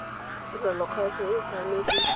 tirelo ya kgaso o tshwanetse